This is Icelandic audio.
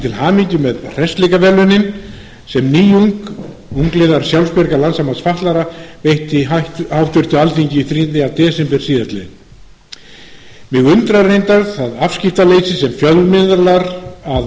til hamingju með hressileikaverðlaunin sem nýjung ungliðar sjálfsbjargar landssambands fatlaðra veitti háttvirtu alþingi þriðja desember síðastliðnum mig undrar reyndar það afskiptaleysi sem fjölmiðlar að